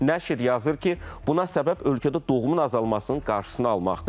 Nəşr yazır ki, buna səbəb ölkədə doğumun azalmasının qarşısını almaqdır.